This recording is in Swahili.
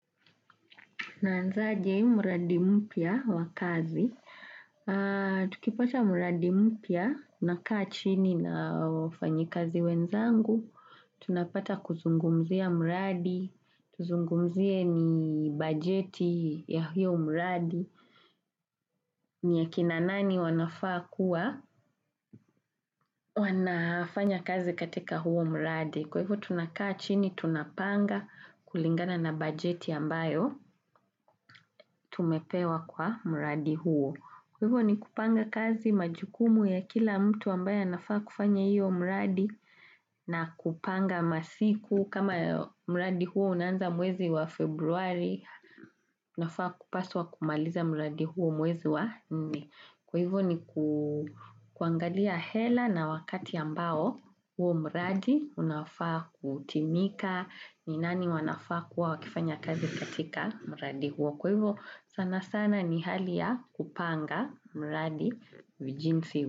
Naanzaje mradi mpya wa kazi. Tukipata muradi mpya, unakaa chini na wafanyi kazi wenzangu. Tunapata kuzungumzia mradi, tuzungumzie ni bajeti ya hiyo mradi. Ni ya kina nani wanafaa kuwa, wanafanya kazi katika huo mradi. Kwa hivyo tunakaa chini, tunapanga kulingana na bajeti ambayo, tumepewa kwa mradi huo. Kwa hivyo ni kupanga kazi majukumu ya kila mtu ambaye nafaa kufanya hiyo mradi na kupanga masiku kama mradi huo unaanza mwezi wa februari nafaa kupaswa kumaliza mradi huo mwezi wa nne. Kwa hivyo ni kuangalia hela na wakati ambao huo mradi unafaa kutimika ni nani wanafaa kuwa wakifanya kazi katika mradi huo. Kwa hivyo sana sana ni hali ya kupanga mradi vijinsi huo.